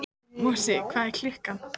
Mosi, hvað er klukkan?